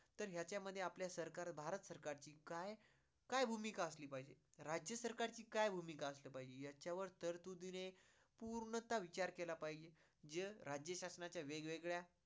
तर ह्याच्या मध्ये आपल्या सरकार भारत सरकार ची काय, काय भूमिका असली पाहिजे, राज्य सरकारची काय भूमिका असली पाहिजे याच्यावर दिले पूर्णतः विचार केला पाहिजे जे राज्य शासनाच्या वेग वेगळ्या